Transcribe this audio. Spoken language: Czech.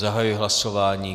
Zahajuji hlasování.